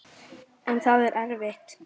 En það var erfitt.